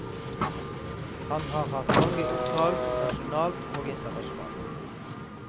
Han har hatt mange oppdrag nasjonalt og internasjonalt.